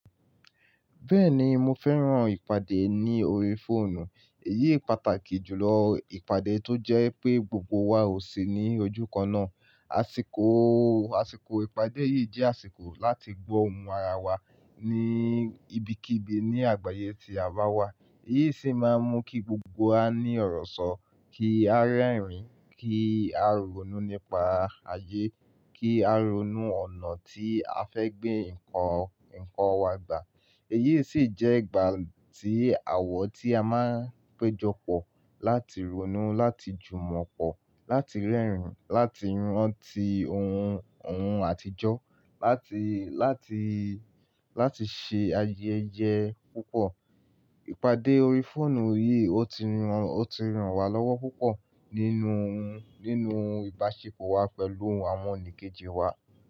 Bẹ́ẹ̀ni, mo fẹ́ran ìpàdé ní orí fóònù. Èyí pàtàkì jùlọ ìpàdé tó jẹ́ pé gbogbo wa ò sí ní ojú kan náà. Àsìkò, àsìkò ìpàdé yìí jẹ́ àsìkò láti gbọ́ ohùn ara wa ní ibikíbi ní àgbáyé tí a bá wà. Èyí sì máa ń mú kí gbogbo wa ní ọ̀rọ̀ sọ, kí a rẹ́rìn-ín, kí a ronú nípa ayé, kí a ronú ọ̀nà tí a fẹ́ gbé ǹkan, ǹkan wa gbà. Èyí sì jẹ́ ìgbà tí àwọ̀ tí a máa ń péjọ pọ̀ láti ronú, láti jùmọ̀ pọ̀, láti rẹ́rìn-ín, láti rántí ohùn, ohùn àtijọ́, láti, láti, láti ṣe ayẹyẹ púpọ̀. Ìpàdé orí fóònù yìí, ó ti ràn, ó ti ràn wá lọ́wọ́ púpọ̀ nínú, nínú ìbáṣepọ̀ wa pẹ̀lú àwọn oníkejì wa.